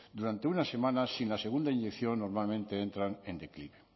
durante una semana sin la segunda inyección normalmente entran en declive